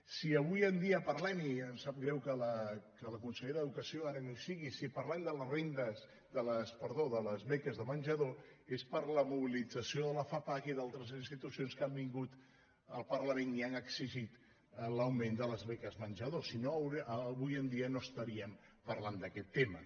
si avui en dia parlem i em sap greu que la consellera d’educació ara no hi sigui de les beques de men·jador és per la mobilització de la fapac i d’altres institucions que han vingut al parlament i han exi·git l’augment de les beques menjador si no avui en dia no estaríem parlant d’aquest tema